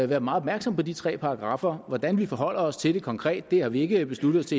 være meget opmærksomme på de tre paragraffer hvordan vi forholder os til det konkret har vi ikke besluttet os